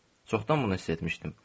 Çoxdan bunu hiss etmişdim.